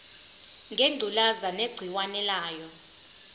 ngengculazi negciwane layo